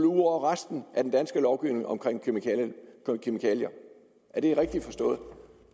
ud over resten af den danske lovgivning om kemikalier er det rigtigt forstået